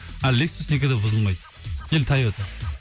а лексус никогда бұзылмайды или тайота